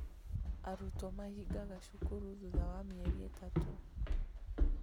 Arutwo mahingaga cukuru thutha wa mĩeri itatũ